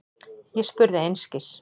Ég spurði einskis.